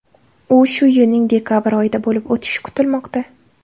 U shu yilning dekabr oyida bo‘lib o‘tishi kutilmoqda.